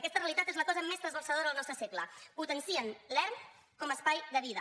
aquesta realitat és la cosa més trasbalsadora del nostre segle potencien l’erm com a espai de vida